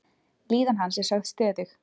Líðan hans er sögð stöðug.